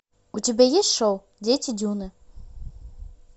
у тебя есть шоу дети дюны